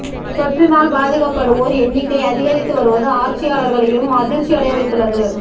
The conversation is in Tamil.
தொற்றினால் பாதிக்கப்படுவோர் எண்ணிக்கை அதிகரித்து வருவது ஆட்சியாளர்களையும் அதிர்ச்சியடைய வைத்துள்ளது